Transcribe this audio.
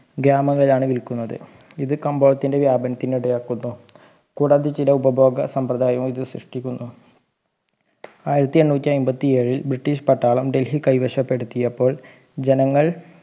ഗ്രാമം വഴിയാണ് വിൽക്കുന്നത് ഇത് കബോളത്തിൻ്റെ വ്യാപനത്തിന് ഇടയാക്കുട്ടോ കൂടാതെ ചില ഉപഭോഗ സമ്പ്രദായവും ഇത് സൃഷ്ടിക്കുന്നു ആയിരത്തി എണ്ണൂറ്റി അമ്പത്തി ഏഴിൽ ബ്രിട്ടീഷ് പട്ടാളം ഡൽഹി കൈവശപ്പെടുത്തിയപ്പോൾ ജനങ്ങൾ